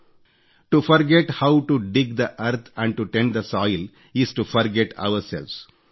to forget how to dig the earth and to tend the soil is to forget ourselves